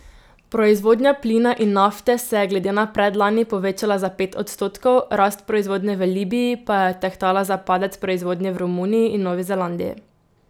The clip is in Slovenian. Proizvodnja plina in nafte se je glede na predlani povečala za pet odstotkov, rast proizvodnje v Libiji pa je odtehtala za padec proizvodnje v Romuniji in Novi Zelandiji.